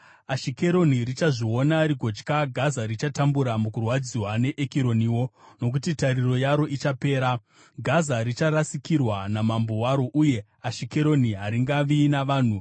Ashikeroni richazviona, rigotya; Gaza richatambura mukurwadziwa, neEkironiwo, nokuti tariro yaro ichapera. Gaza richarasikirwa namambo waro uye Ashikeroni haringavi navanhu.